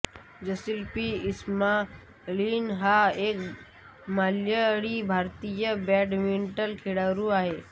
Jasil P Ismail हा एक मल्याळीभारतीय बॅडमिंटन खेळाडू आहे